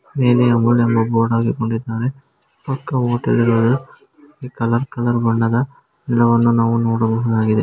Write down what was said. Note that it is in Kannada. ಬೋರ್ಡ್ ಅನ್ನು ಹಾಕೊಂಡಿದಾರೆ ಪಕ್ಕ ಹೋಟೆಲ್ ಇರಬಹುದು ಕಲರ್ ಕಲರ್ ಬಣ್ಣದ ಗಿಡವನ್ನು ನಾವು ನೋಡಬಹುದಾಗಿದೆ.